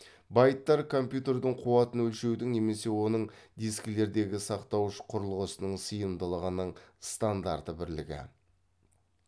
байттар компьютердің қуатын өлшеудің немесе оның дискілердегі сақтауыш құрылғысының сыйымдылығының стандарты бірлігі